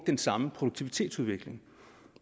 den samme produktivitetsudvikling